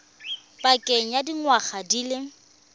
pakeng ya dingwaga di le